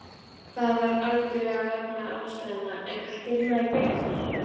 Það var algjörlega vegna aðstæðna, en hvað getur maður gert?